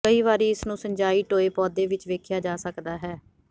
ਕਈ ਵਾਰੀ ਇਸ ਨੂੰ ਸਿੰਚਾਈ ਟੋਏ ਪੌਦੇ ਵਿੱਚ ਵੇਖਿਆ ਜਾ ਸਕਦਾ ਹੈ